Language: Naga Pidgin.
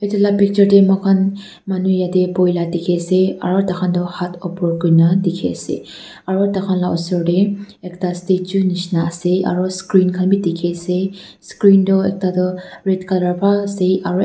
Etu la picture tey moi khan manu yate poi la dekhe ase aro taikhan tu hat upor kurena dekhe ase aro tai khan la usor tey ekta statue neshna ase aro screen khan beh dekhe ase screen tho ekta tu red colour bhal ase aro ek--